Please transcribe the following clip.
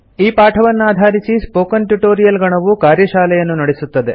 ಈ ಪಾಠವನ್ನಾಧಾರಿಸಿ spoken tutorial ಗಣವು ಕಾರ್ಯಶಾಲೆಯನ್ನು ನಡೆಸುತ್ತದೆ